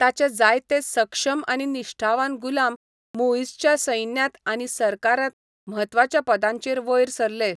ताचे जायते सक्षम आनी निश्ठावान गुलाम मुईझच्या सैन्यांत आनी सरकारांत म्हत्वाच्या पदांचेर वयर सरले.